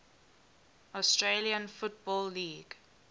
australian football league